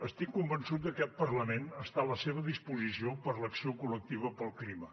estic convençut que aquest parlament està a la seva disposició per a l’acció col·lectiva pel clima